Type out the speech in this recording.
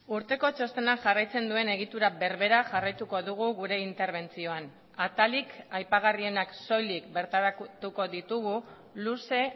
urteko txostenak jarraitzen duen egitura berbera jarraituko dugu gure interbentzioan atalik aipagarrienak soilik bertaratuko ditugu luze